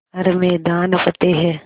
हर मैदान फ़तेह